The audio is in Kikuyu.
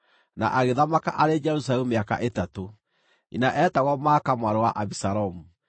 na agĩthamaka arĩ Jerusalemu mĩaka ĩtatũ. Nyina eetagwo Maaka mwarĩ wa Abisalomu.